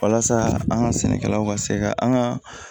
Walasa an ka sɛnɛkɛlaw ka se ka an ka